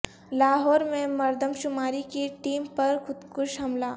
لاہور میں مردم شماری کی ٹیم پر خودکش حملہ